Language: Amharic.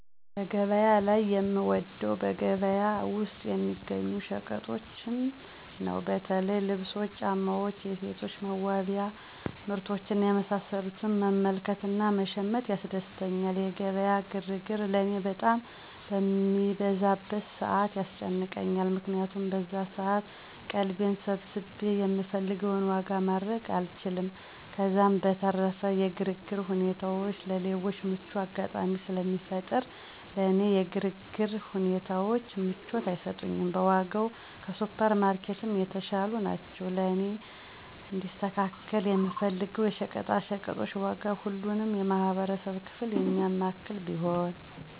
በገበያ ላይ የምወደው በገበያ ውስጥ የሚገኙ ሸቀጦችን ነው። በተለይ ልብሶች፣ ጫማዎች፣ የሴቶች ለመዋቢያ ምርቶች እና የመሳሰሉትን መመልከት እና መሸመት ያስደስተኛል። የገበያ ግርግር ለእኔ በጣም በሚበዛበት ሰዓት ያስጨንቀኛል። ምክንያቱም በዛን ሰዓት ቀልቤን ሰብስቤ የምፈልገውን ዋጋ ማድረግ አልችልም፤ ከዛም በተረፈ የግርግር ሁኔታዎች ለሌቦች ምቹ አጋጣሚን ስለሚፈጥር ለእኔ የግርግር ሁኔታዎች ምቾትን አይሰጡኝም። በዋጋም ከሱፐር ማርኬትም የተሻሉ ናቸው። ለእኔ እንዲስተካከል የምፈልገው የሸቀጣሸቀጦች ዋጋ ሁሉንም የማህበረሰብ ክፍል የሚያማክል ቢሆን።